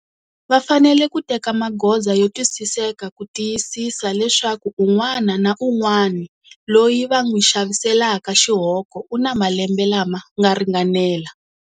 Va fanele ku teka magoza yo twisiseka ku tiyisisa leswaku un'wana na un'wani loyi va n'wi xaviselaka xihoko u na malembe lama nga ringanela.